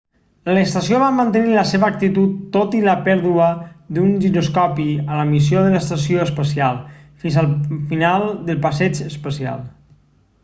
l'estació va mantenir la seva actitud tot i la pèrdua d'un giroscopi a la missió de l'estació espacial fins al final del passeig espacial